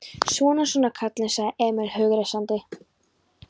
Svona, svona, kallinn, sagði Emil hughreystandi.